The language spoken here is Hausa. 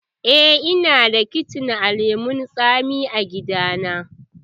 Eh, ina da icen lemun tsami a gida na.